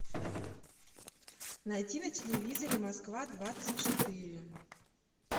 найти на телевизоре москва двадцать четыре